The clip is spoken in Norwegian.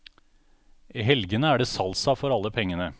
I helgene er det salsa for alle pengene.